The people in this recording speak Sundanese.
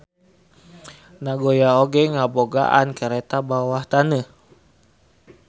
Nagoya oge ngabogaan kareta bawah taneuh.